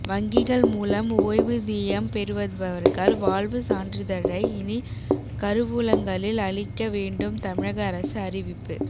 வங்கிகள் மூலம் ஓய்வூதியம் பெறுபவர்கள் வாழ்வு சான்றிதழை இனி கருவூலங்களில் அளிக்க வேண்டும் தமிழக அரசு அறிவிப்பு